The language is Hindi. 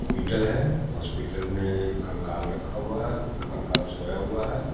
पिटल है हॉस्पिटल में एक कंकाल रखा हुआ है कंकाल सोया हुआ है।